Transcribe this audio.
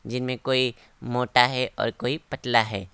जिनमें कोई मोटा है और कोई पतला है।